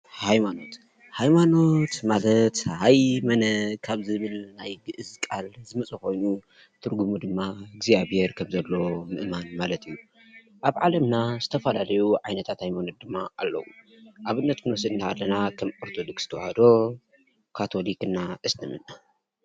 ሃይማኖት፡- ሃይማኖት ማለት ሀይ መነ ካብ ዝብል ናይ ግእዝ ቃል ዝመፀ ኮይኑ ትርጉሙ ድማ እግዚያብሄር ከም ዘሎ ምእማን እዩ፡፡ ኣብ ዓለምና ዝተፈላለዩ ዓይናታት ሃይማኖታት ድማ ኣለዉ፡፡ ኣብነት ክንወስድ ከለና ከም ኦርተዶድስ ተዋህዶ ፣ካቶሊክ እና እስልምና።